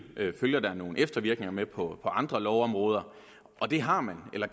følger nogle eftervirkninger med på andre lovområder og det har man eller